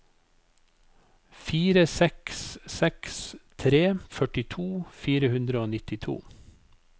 fire seks seks tre førtito fire hundre og nittito